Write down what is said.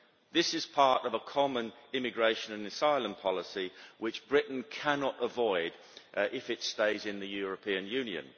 This is part of a common immigration and asylum policy which Britain cannot avoid if it stays in the European Union.